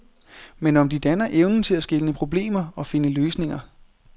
Men om de danner evnen til at skelne problemer og finde løsninger.